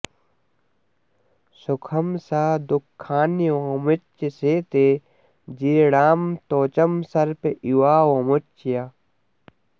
सुखं स दुःखान्यवमुच्य शेते जीर्णां त्वचं सर्प इवावमुच्य